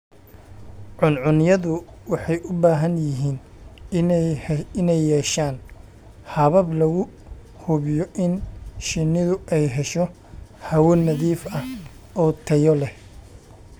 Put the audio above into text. Cuncunyadu waxay u baahan yihiin inay yeeshaan habab lagu hubiyo in shinnidu ay hesho hawo nadiif ah oo tayo leh.